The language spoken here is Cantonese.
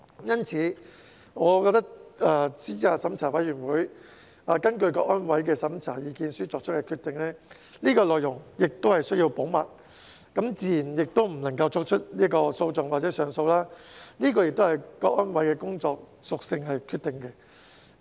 因此，我覺得資審會根據香港國安委的審查意見書作出的決定，內容必須保密，自然也不能提起訴訟或上訴，這也是由香港國安委的工作屬性所决定的。